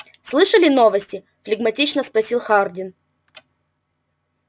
слышали новости флегматично спросил хардин